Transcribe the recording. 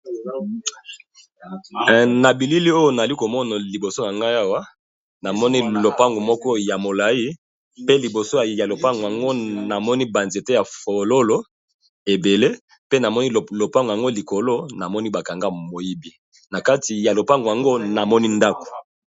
Na bilili oyo nali komono liboso ya nga awa namoni lopango moko ya molayi pe liboso ya lopango yango namoni ba nzete ya fololo ebele pe namoni lopango yango likolo namoni ba kanga moyibi na kati ya lopango yango namoni ndako.